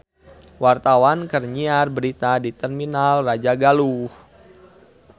Wartawan keur nyiar berita di Terminal Rajagaluh